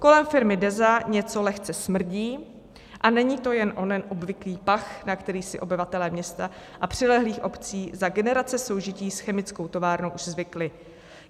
Kolem firmy Deza něco lehce smrdí, a není to jen onen obvyklý pach, na který si obyvatelé města a přilehlých obcí za generace soužití s chemickou továrnou už zvykli.